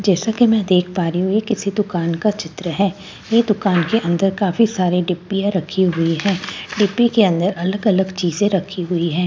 जैसा कि में देख पा रही हूँ यह किसी दुकान का चित्र है यह दुकान की अंदर काफ़ी सारे डिबिया रखी हुई है डिबी के अंदर अलग अलग चीज़ें रखी हुई है यहाँपे --